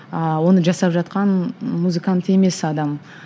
ыыы оны жасап жатқан музыкант емес адам